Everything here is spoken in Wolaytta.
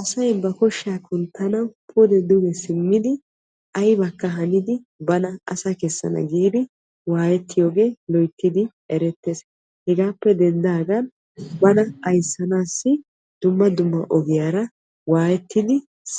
Asay ba koshaa kunttanawu pude duge simmiddi aybbakka haniddi bawu sa'a kessana giidi waayetiyooge loyttiddi eretees hegaappe denddagan zal'iddi